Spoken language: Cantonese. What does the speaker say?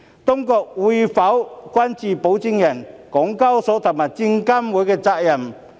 當局會否關注保薦人、港交所和證監會的責任？